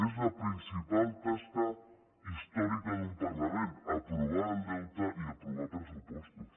és la principal tasca històrica d’un parlament aprovar el deute i aprovar pressupostos